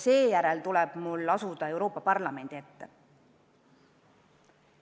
Seejärel tuleb mul astuda Euroopa Parlamendi ette.